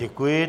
Děkuji.